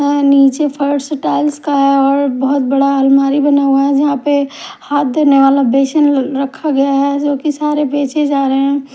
नीचे फर्श टाइल्स का है। एक बहुत बड़ा अलमारी बनाया है। यहां पे हाथ धोने वाला बेसिंग रखा गया है जो की सारे बेचे जा रहे है।